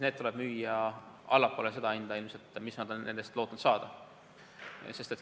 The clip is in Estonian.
Need tuleb ilmselt müüa odavamalt, kui nad on lootnud nende eest saada.